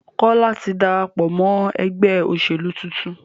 Kola tí darapọ̀ mọ ègbé òṣèlú títún